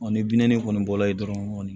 Ɔ ni bin kɔni bɔla ye dɔrɔn